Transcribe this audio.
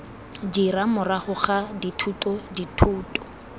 dira morago ga dithuto dithuto